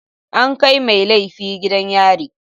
An kai mai laifi gidan yari.